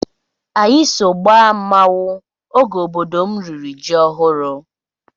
Anyị so gbaa mmanwụ oge obodo m riri ji ọhụrụ.